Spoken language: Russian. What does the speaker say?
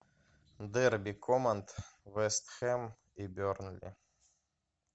дерби команд вест хэм и бернли